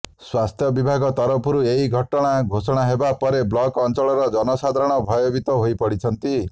ସ୍ୱାସ୍ଥ୍ୟ ବିଭାଗ ତରଫରୁ ଏହି ଘଟଣା ଘୋଷଣା ହେବା ପରେ ବ୍ଲକ ଅଞ୍ଚଳର ଜନସାଧାରଣ ଭୟଭୀତ ହୋଇପଡିଛନ୍ତି